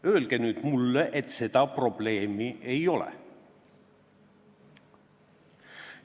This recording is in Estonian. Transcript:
Öelge nüüd mulle, et seda probleemi ei ole.